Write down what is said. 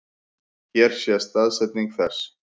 Hér sést staðsetning þess.